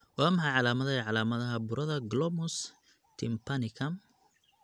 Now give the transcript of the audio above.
Waa maxay calaamadaha iyo calaamadaha burada Glomus tympanicum?